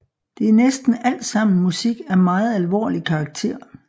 Det er næsten alt sammen musik af meget alvorlig karakter